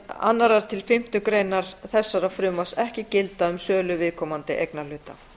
annars til fimmtu grein þessa frumvarps ekki gilda um sölu viðkomandi eignarhluta